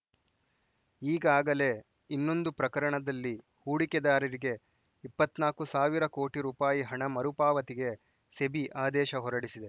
ಈಗಾಗಲೇ ಇನ್ನೊಂದು ಪ್ರಕರಣದಲ್ಲಿ ಹೂಡಿಕೆದಾರರಿಗೆ ಇಪ್ಪತ್ತ್ ನಾಕು ಸಾವಿರ ಕೋಟಿ ರೂಪಾಯಿ ಹಣ ಮರುಪಾವತಿಗೆ ಸೆಬಿ ಆದೇಶ ಹೊರಡಿಸಿದೆ